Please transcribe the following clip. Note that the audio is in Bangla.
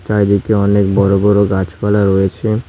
চারিদিকে অনেক বড় বড় গাছপালা রয়েছে।